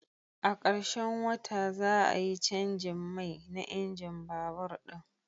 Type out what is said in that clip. A karshen wata, za a yi canjin mai na injin babur ɗin.